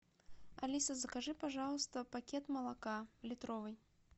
алиса закажи пожалуйста пакет молока литровый